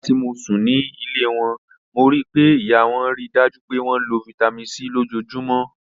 Nigbati mo sun ni ile wọn, mo rii pe iya wọn rii daju pe wọn lo Vitamin C lojoojumọ.